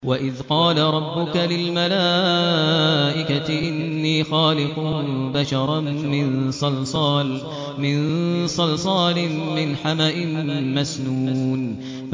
وَإِذْ قَالَ رَبُّكَ لِلْمَلَائِكَةِ إِنِّي خَالِقٌ بَشَرًا مِّن صَلْصَالٍ مِّنْ حَمَإٍ مَّسْنُونٍ